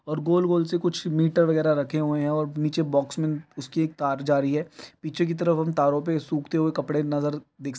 और गोल गोल से कुछ मीटर वगेरा रखे हुए है और नीचे बॉक्स में उसकी तार जा रही है पीछे की तरफ हम तारो पे सूखते हुए कपडे नज़र दिख --